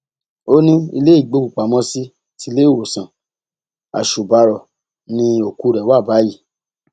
ó ní ilé ìgbọkùpamọsí ti iléèwòsàn àṣùbàrọ ni òkú rẹ wà báyìí